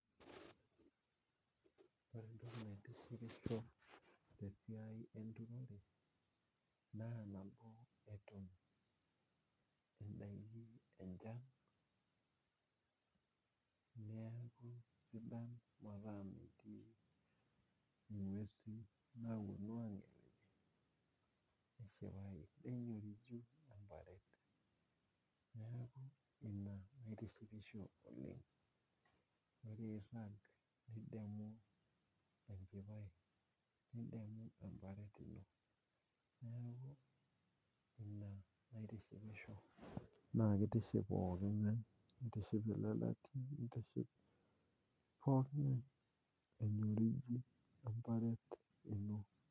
Ore entoki naitishipo te siai enturore naa naduo eton idalulu enchan, neaku sidan metaa metii inguesi naaponu nenyoriju ilchamba, naaku ina naitishipisho oleng, ore eirag tende amu enchipai nidamu embarat ino, naaku ina naitishipisho, naa keitiship pooki ing'ae neitiship le lati, neitiship pooki ing'ae enyoriji emparet ino.